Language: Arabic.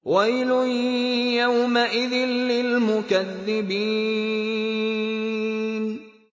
وَيْلٌ يَوْمَئِذٍ لِّلْمُكَذِّبِينَ